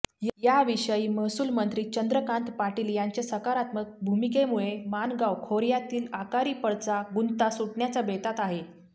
याविषयी महसूलमंत्री चंद्रकांत पाटील यांच्या सकारात्मक भूमिकेमुळे माणगाव खोर्यातील आकारीपडचा गुंता सुटण्याच्या बेतात आहे